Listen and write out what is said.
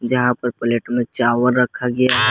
यहां पर प्लेट में चावल रखा गया--